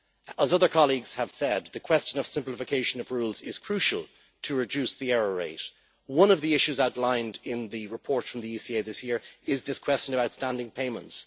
As other colleagues have said, the question of simplification of rules is crucial to reduce the error rate. One of the issues outlined in the report from the ECA this year is this question of outstanding payments.